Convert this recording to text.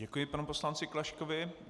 Děkuji panu poslanci Klaškovi.